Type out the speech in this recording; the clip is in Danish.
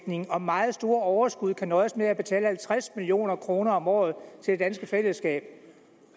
og meget store overskud kan nøjes med at betale halvtreds million kroner om året til det danske fællesskab